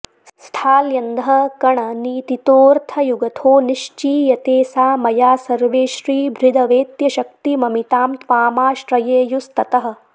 स्थाल्यन्धःकणनीतितोऽर्थयुगथो निश्चीयते सा मया सर्वे श्रीभृदवेत्य शक्तिममितां त्वामाश्रयेयुस्ततः